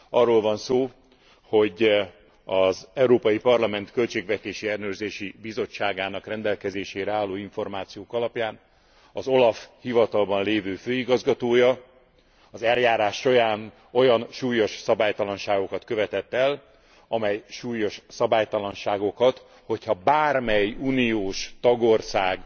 Arról van szó, hogy az Európai Parlament Költségvetési Ellenőrzési Bizottságának rendelkezésére álló információk alapján az OLAF hivatalban lévő főigazgatója az eljárás során olyan súlyos szabálytalanságokat követett el, amely súlyos szabálytalanságokat, hogy ha bármely uniós tagország